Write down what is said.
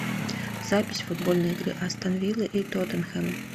запись футбольной игры астон виллы и тоттенхэма